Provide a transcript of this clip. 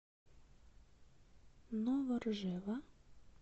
новоржева